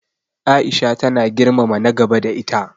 Aisha tana girmama na gaba da ita.